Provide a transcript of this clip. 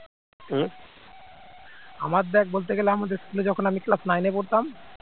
আমার দেখ বলতে গেলে আমাদের school এ যখন আমি class nine এ পড়তাম